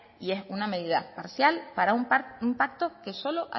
y es una medida parcial para un pacto que solo